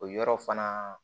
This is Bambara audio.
O yɔrɔ fana